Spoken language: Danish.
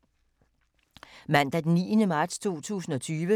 Mandag d. 9. marts 2020